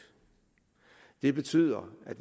det betyder at